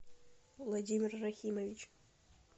владимир рахимович